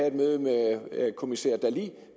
et møde med kommissær dalli